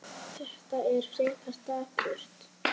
Þetta er frekar dapurt.